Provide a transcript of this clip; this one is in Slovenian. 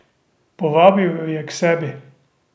Povabil jo je k sebi.